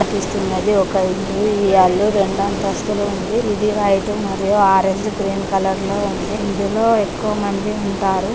కనిపిస్తుంది ఒక ఇల్లు ఈ అల్లు రెండు అంతస్తులు ఉంది ఇది వైట్ మరియు ఆరంజ్ గ్రీన్ కలర్ లో ఉంది ఇందులో ఎక్కువ మంది ఉంటారు.